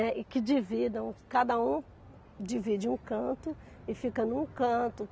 Né, e que dividam, cada um divide um canto e fica num canto.